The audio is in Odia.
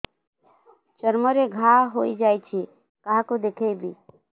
ଚର୍ମ ରେ ଘା ହୋଇଯାଇଛି କାହାକୁ ଦେଖେଇବି